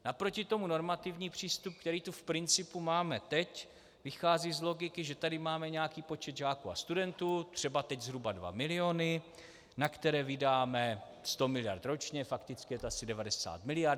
Naproti tomu normativní přístup, který tu v principu máme teď, vychází z logiky, že tady máme nějaký počet žáků a studentů, třeba teď zhruba 2 miliony, na které vydáme 100 miliard ročně, fakticky je to asi 90. miliard.